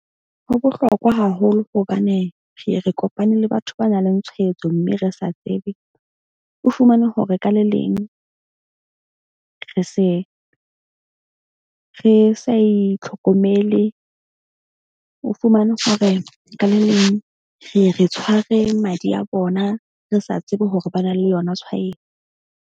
Ho bohlokwa haholo hobane re ye re kopane le batho ba nang le tshwaetso. Mme re sa tsebe o fumane hore ka le leng re se re sa itlhokomele. O fumane hore ka le leng re re tshware madi a bona, re sa tsebe hore ba na le yona .